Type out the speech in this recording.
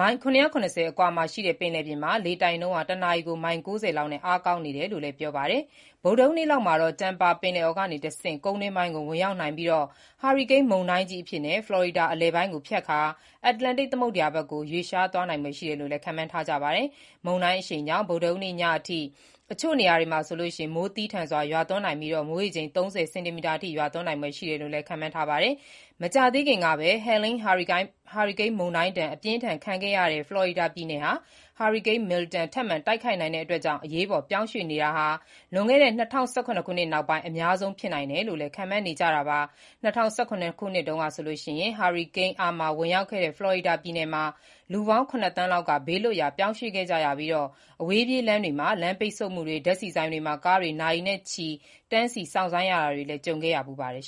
မိုင် ၇၇၀ အကွာ ပင်လယ်ပြင်မှာ လေတိုက်နှုန်း တနာရီ မိုင် ၉၀ လောက်နဲ့ အားကောင်းလာနေတယ်လို့လည်း ပြောပါတယ်။ ဗုဒ္ဓဟူးနေ့လောက်မှာ Tampa ပင်လယ်အော် ကတဆင့် ကုန်းတွင်းပိုင်းကို ဝင်ရောက်နိုင်ပြီး ဟာရီကိန်းမုန်တိုင်းကြီးအဖြစ် ဖလော်ရီဒါအလယ်ပိုင်းကိုဖြတ်ကာ အတ္တလန္တိတ်သမုဒ္ဒရာဘက်ကို ရွေ့လျားသွားဖို့ရှိတယ်လို့လည်း ခန့်မှန်းထားကြပါတယ်။ မုန်တိုင်းအရှိန်ကြောင့် ဗုဒ္ဓဟူးနေ့ညအထိ အချို့နေရာတွေမှာ မိုးသည်းထန်စွာ ရွာသွန်းနိုင်ပြီး မိုးရေချိန် ၃၀ စင်တီမီတာ အထိ ရွာသွန်းနိုင်ဖွယ်ရှိတယ်လို့လည်း ခန့်မှန်းထားပါတယ်။ မကြာသေးခင်ကပဲ Helene ဟာရီကိန်းမုန်တိုင်းဒဏ် အပြင်းအထန်ခံခဲ့ရတဲ့ ဖလော်ရီဒါပြည်နယ်မှာ ဟာရီကိန်း Milton ထပ်မံတိုက်ခတ်နိုင်တာကြောင့် အရေးပေါ် ပြောင်းရွှေ့နေကြတာဟာ လွန်ခဲ့တဲ့ ၂၀၁၇ ခုနှစ်နောက်ပိုင်း အများဆုံး ဖြစ်နိုင်တယ်လို့လည်း ခန့်မှန်းနကြတာပါ။ ၂၀၁၇ ခုနှစ်တုန်းက ဟာရီကိန်း Irma ဝင်ရောက်ခဲ့တဲ့ ဖလော်ရီဒါပြည်နယ်မှာ လူပေါင်း ၇ သန်းလောက် ဘေးလွတ်ရာ ပြောင်းရွှေ့ခဲ့ကြရပြီး အဝေးပြေးလမ်းတွေမှာ လမ်းပိတ်ဆို့မှုတွေ၊ ဓာတ်ဆီဆိုင်တွေမှာ ကားတွေ နာရီနဲ့ချီ တန်းစီစောင့်ဆိုင်းကြရတာတွေလည်း ကြုံခဲ့ရဖူးပါတယ်